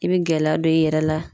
I be gɛlɛya don i yɛrɛ la.